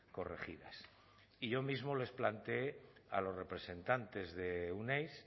corregidas y yo mismo les plantee a los representantes de euneiz